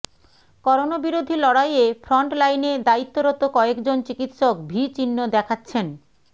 করোনাবিরোধী লড়াইয়ে ফ্রন্টলাইনে দায়িত্বরত কয়েকজন চিকিৎসক ভি চিহ্ন দেখাচ্ছেন